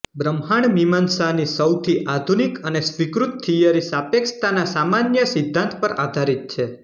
બ્રહ્માંડમીમાંસાની સૌથી આધુનિક અને સ્વીકૃત થીયરી સાપેક્ષતાના સામાન્ય સિદ્ધાન્ત પર આધારિત છે